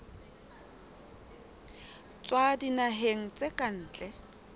tswa dinaheng tsa ka ntle